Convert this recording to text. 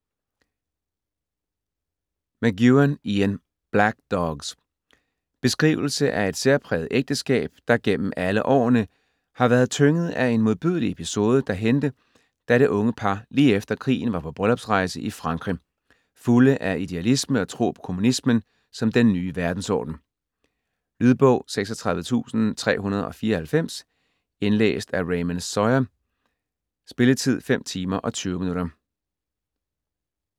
McEwan, Ian: Black dogs Beskrivelse af et særpræget ægteskab, der gennem alle årene har været tynget af en modbydelig episode, som hændte, da det unge par lige efter krigen var på bryllupsrejse i Frankrig, fulde af idealisme og tro på kommunismen som den ny verdensorden. Lydbog 36394 Indlæst af Raymond Sawyer. Spilletid: 5 timer, 20 minutter.